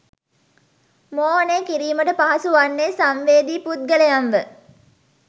මෝහනය කිරීමට පහසු වන්නේ සංවේදී පුද්ගලයන්ව